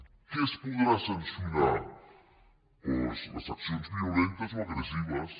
què es podrà sancionar doncs les accions violentes o agressives